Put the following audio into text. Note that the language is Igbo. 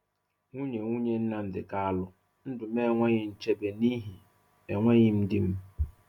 Nwunye Nwunye Nnamdi Kalu: Ndụ m enweghị nchebe n'ihi enweghị di m